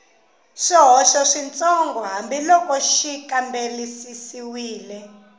swihoxo switsongo hambiloko xi kambisisiwile